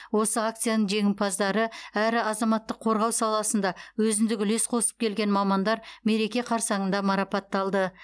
осы акцияның жеңімпаздары әрі азаматтық қорғау саласында өзіндік үлес қосып келген мамандар мереке қарсаңында марапатталды